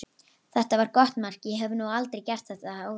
Þetta var gott mark, ég hef nú aldrei gert þetta áður.